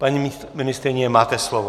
Paní ministryně, máte slovo.